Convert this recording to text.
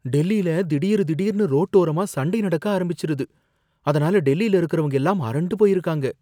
டெல்லியில திடீர் திடீர்னு ரோட்டோரமா சண்டை நடக்க ஆரம்பிச்சுருது. அதனால டெல்லியில இருக்கிறவங்க எல்லாம் அரண்டு போயிருக்காங்க.